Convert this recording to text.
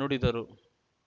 ನುಡಿದರು